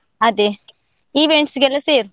ಅದೇ events ಗೆಲ್ಲ ಸೇರು.